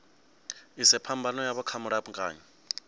ise phambano yavho kha mulamukanyi